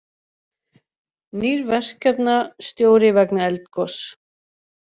Nýr verkefnastjóri vegna eldgoss